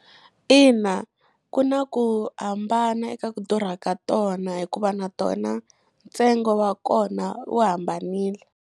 Ina, ku na ku hambana eka ku durha ka tona hikuva na tona ntsengo wa kona wu hambanile.